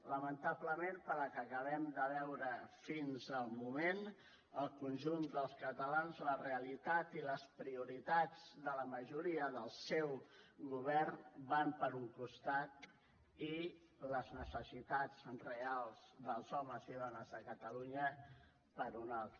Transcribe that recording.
lamentablement pel que acabem de veure fins el moment el conjunt dels catalans la realitat i les prioritats de la majoria del seu govern van per un costat i les necessitats reals dels homes i dones de catalunya per un altre